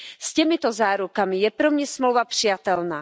S těmito zárukami je pro mě smlouva přijatelná.